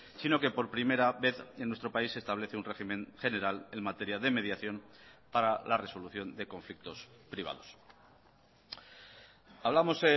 si no que por primera vez en nuestro país se establece un régimen general en materia de mediación para la resolución de conflictos privados hablamos